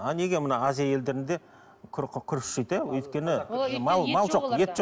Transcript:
а неге мына азия елдерінде құр күріш жейді иә өйткені мал мал жоқ ет жоқ